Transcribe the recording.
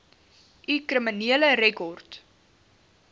u kriminele rekord